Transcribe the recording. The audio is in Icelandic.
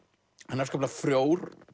afskaplega frjór